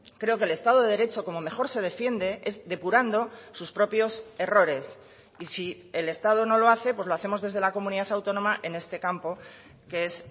creo que el estado de derecho como mejor se defiende es depurando sus propios errores y si el estado no lo hace pues lo hacemos desde la comunidad autónoma en este campo que es